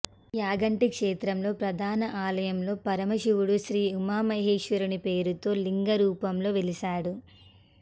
యాగంటి క్షేత్రంలో ప్రధాన ఆలయంలో పరమశివుడు శ్రీ ఉమామహేశ్వరుని పేరుతో లింగ రూపంలో వెలిసాడు